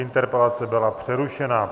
Interpelace byla přerušena.